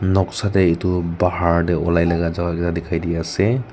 noksa deh edu bahar deh olailaga dikhai dia asey.